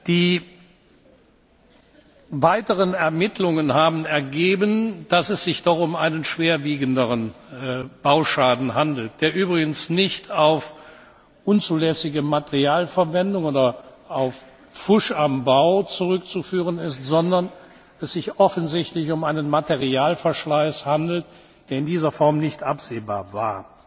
bin. Die weiteren Ermittlungen haben ergeben, dass es sich doch um einen schwerwiegenderen Bauschaden handelt, der übrigens nicht auf unzulässige Materialverwendung oder auf Pfusch am Bau zurückzuführen ist, sondern dass es sich offensichtlich um einen Materialverschleiß handelt, der in dieser Form nicht absehbar